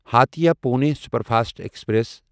Hatia Pune superfast express